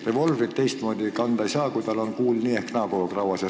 Revolvrit teistmoodi kanda ei saa, kui tal on kuul nii ehk naa kogu aeg rauas.